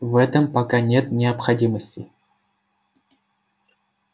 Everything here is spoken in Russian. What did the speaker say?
в этом пока нет необходимости